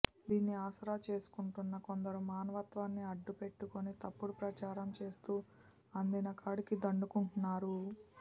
దీన్ని ఆసరా చేసుకుంటున్న కొందరు మానవత్వాన్ని అడ్డు పెట్టుకుని తప్పుడు ప్రచారం చేస్తూ అందినకాడికి దండుకుం టున్నారు